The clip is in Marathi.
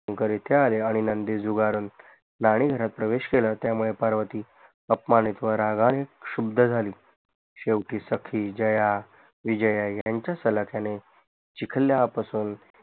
आणि नंदी झुगारून नाणी घरात प्रवेश केला त्यामुळे पार्वती अपमानित व रागाने क्षुब्द झाली शेवटी सखी जया विजया यांच्या सलाख्याने चिखल्या पासून